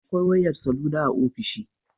Akwai wayar salula a ofishi